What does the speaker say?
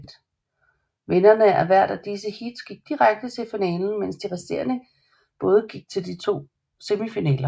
Vinderne af hvert af disse heats gik direkte til finalen mens de resterende både gik til de to semifinaler